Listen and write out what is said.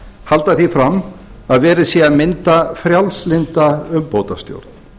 halda því fram að verið sé að mynda frjálslynda umbótastjórn